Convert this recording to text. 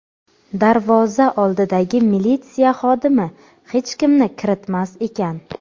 Darvoza oldidagi militsiya xodimi hech kimni kiritmas ekan.